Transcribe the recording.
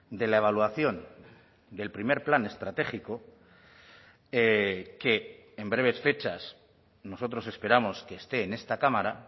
de la evaluación del primer plan estratégico que en breves fechas nosotros esperamos que esté en esta cámara